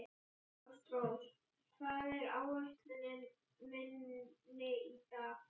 Ástrós, hvað er á áætluninni minni í dag?